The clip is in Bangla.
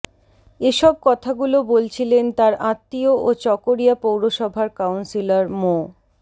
এসব কথাগুলো বলছিলেন তার আত্মীয় ও চকরিয়া পৌরসভার কাউন্সিলর মো